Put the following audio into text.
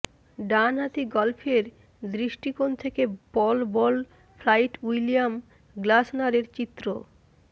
ডান হাতি গল্ফের দৃষ্টিকোণ থেকে পল বল ফ্লাইট উইলিয়াম গ্লাসনারের চিত্র